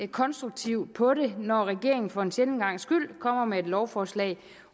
konstruktivt på det når regeringen for en sjælden gangs skyld kommer med et lovforslag